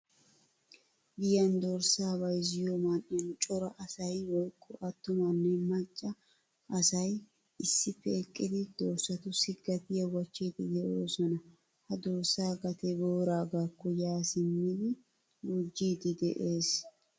Giyan dorssa bayzziyo man'iyan cora asay woykko attumane macca asay issippe eqqidi dorssatussi gatiyaa wachchidi deosona. Ha dorssa gatee booragakko yaa simidi gujjidi de'ees.